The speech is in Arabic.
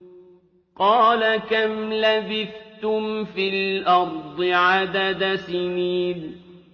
قَالَ كَمْ لَبِثْتُمْ فِي الْأَرْضِ عَدَدَ سِنِينَ